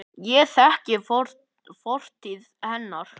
Ég þekki fortíð hennar.